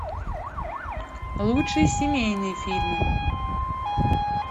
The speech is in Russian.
лучшие семейные фильмы